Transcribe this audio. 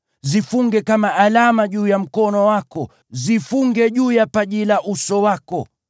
Zifunge kama alama juu ya mkono wako, na uzifunge juu ya paji la uso wako.